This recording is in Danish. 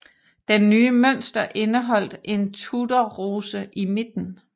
Den nye mønster indeholdt en Tudorrose i midten